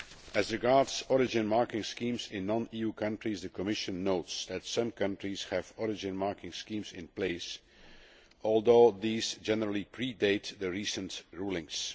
As regards origin fmarking schemes in non EU countries, the Commission notes that some countries have origin marking schemes in place, although these generally pre date the recent rulings.